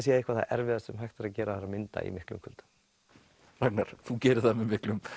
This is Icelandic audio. sé eitthvað það erfiðasta sem hægt er að gera það er að mynda í miklum kuldum Ragnar þú gerir það með miklum